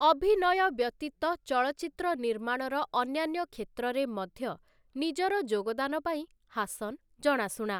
ଅଭିନୟ ବ୍ୟତୀତ ଚଳଚ୍ଚିତ୍ର ନିର୍ମାଣର ଅନ୍ୟାନ୍ୟ କ୍ଷେତ୍ରରେ ମଧ୍ୟ ନିଜର ଯୋଗଦାନ ପାଇଁ ହାସନ୍‌ ଜଣାଶୁଣା ।